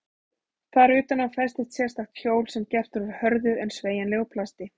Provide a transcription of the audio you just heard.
Þar utan á festist sérstakt hjól sem gert er úr hörðu en sveigjanlegu plasti.